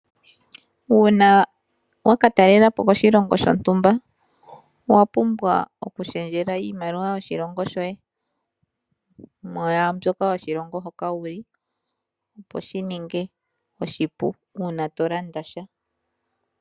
Uuna wakatalela po koshilongo shontumba owapumbwa okushengela iimaliwa yoshilongo shoye mu yambyoka yoshilongo hoka wuli opo shininge oshipu una tolanda sha.